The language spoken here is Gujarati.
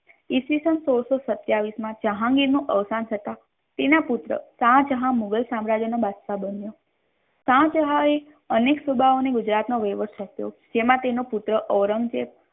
ઈસ્વીસન સોળસો સત્યાવીસ મા જેહાંગીર નું અવસાન થતા તેના પુત્ર શાહજહાં મુઘલ સામ્રાજ્ય નો બાદશાહ બન્યો શાહજહા એ અનેક સૂબાઓ ને ગુજરાત નો વહીવટ સોંપ્યો તેમાં તેનો પુત્ર ઔરંગઝેબ